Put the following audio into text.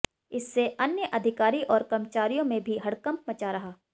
इससे अन्य अधिकारी और कर्मचारियों में भी हड़कंप मचा रहा